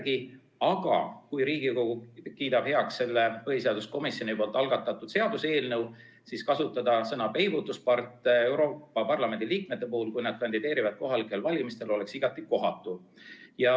Kui aga Riigikogu kiidab heaks selle põhiseaduskomisjoni algatatud seaduseelnõu, siis kasutada sõna "peibutuspart" Euroopa Parlamendi liikmete kohta, kui nad kandideerivad kohalikel valimistel, oleks igati kohatu.